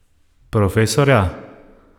Profesorja?